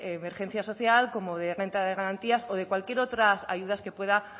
emergencia social como de renta de garantías o de cualquier otras ayudas que pueda